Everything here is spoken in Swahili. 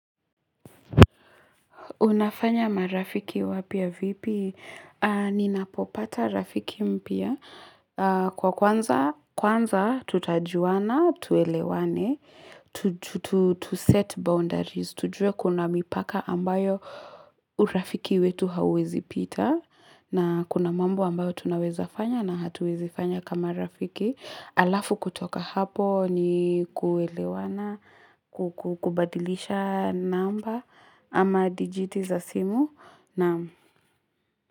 Unafanya marafiki wapya vipi? Ninapopata rafiki mpya. Kwa kwanza tutajuana, tuelewane, tu set boundaries. Tujue kuna mipaka ambayo urafiki wetu hauwezipita na kuna mambo ambayo tunawezafanya na hatuwezi fanya kama rafiki. Alafu kutoka hapo ni kuelewana kukubadilisha namba ama dijiti za simu naam.